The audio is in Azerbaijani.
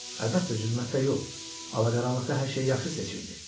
Əlbəttə zülmətdə yox, ala qaranlıqda hər şeyi yaxşı seçirdi.